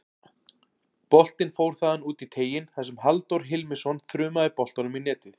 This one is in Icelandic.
Boltinn fór þaðan út í teiginn þar sem Halldór Hilmisson þrumaði boltanum í netið.